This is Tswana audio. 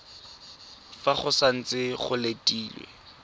fa go santse go letilwe